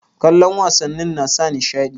Kallon wasannin nasa nishaɗi